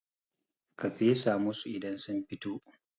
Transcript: ka fesa musu idan sun fito!